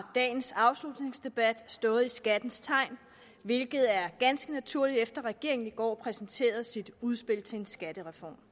dagens afslutningsdebat stået i skattens tegn hvilket er ganske naturligt efter at regeringen i går præsenterede sit udspil til en skattereform